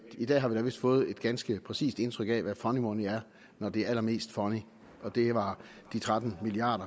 i dag har vi da vist fået et ganske præcist indtryk af hvad funny money er når de er allermest funny og det var de tretten milliard